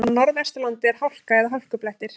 Á Norðvesturlandi er hálka eða hálkublettir